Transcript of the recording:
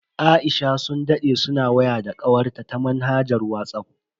Aisha sun dade suna waya da kawarta ta manhajar Whatsapp.